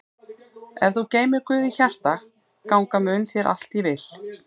Ef þú geymir Guð í hjarta ganga mun þér allt í vil.